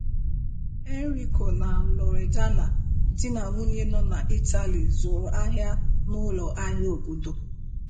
Enrico na Loredana, di na nwunye nọ na Italy, zuru ahia n'ụlọ ahịa obodo.